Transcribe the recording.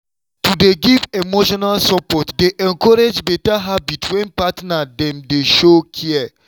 to dey give emotional support dey encourage better habits when partner dem dey show care.